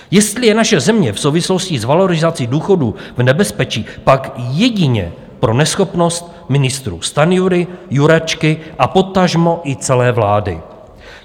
Jestli je naše země v souvislosti s valorizací důchodů v nebezpečí, pak jedině pro neschopnost ministrů Stanjury, Jurečky a potažmo i celé vlády.